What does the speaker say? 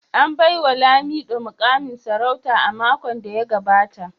An baiwa Lamido mukamin sarauta a makon da ya gabata